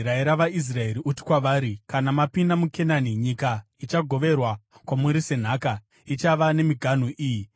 “Rayira vaIsraeri uti kwavari: ‘Kana mapinda muKenani, nyika ichagoverwa kwamuri senhaka, ichava nemiganhu iyi: